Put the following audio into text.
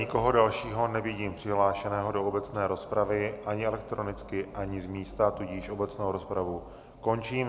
Nikoho dalšího nevidím přihlášeného do obecné rozpravy ani elektronicky, ani z místa, tudíž obecnou rozpravu končím.